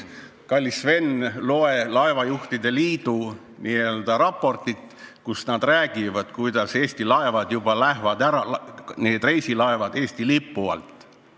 Kallis Sven, loe laevajuhtide liidu raportit, kus nad kinnitavad, et Eesti reisilaevad lähevad Eesti lipu alt ära.